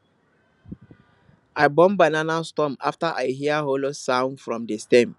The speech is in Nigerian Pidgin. i burn banana stumps after i hear hollow sound from di stem